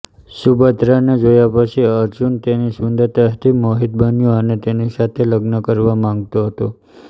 સુભદ્રાને જોયા પછી અર્જુન તેની સુંદરતાથી મોહિત બન્યો અને તેની સાથે લગ્ન કરવા માગતો હતો